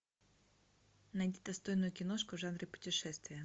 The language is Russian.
найди достойную киношку в жанре путешествия